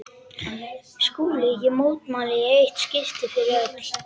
SKÚLI: Ég mótmæli í eitt skipti fyrir öll!